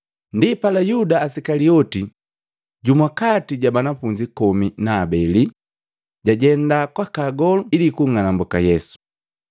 Ndipala, Yuda Isikalioti, jumu kati ja banafunzi komi na habeli, jajenda kwaka agolu ili kung'anambuka Yesu.